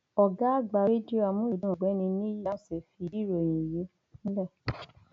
ọgá àgbà rédíò àmúlùdún ọgbẹni níyì dáhùnsì fìdí ìròyìn yìí múlẹ